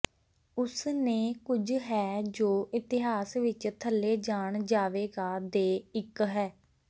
ਉਸ ਨੇ ਕੁਝ ਹੈ ਜੋ ਇਤਿਹਾਸ ਵਿਚ ਥੱਲੇ ਜਾਣ ਜਾਵੇਗਾ ਦੇ ਇੱਕ ਹੈ